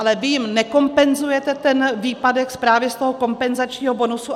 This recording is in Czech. Ale vy jim nekompenzujete ten výpadek právě z toho kompenzačního bonusu.